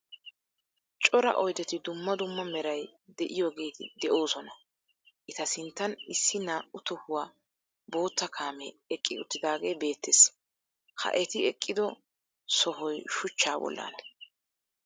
Cora oydeti dumma dumma meray de'iyogeeti de'oosona. Eta sinttan issi naa"u tohuwa bootta kaamee eqqi uttidaagee beettees. Ha eti eqqido sohoy shuchchaa bollaana.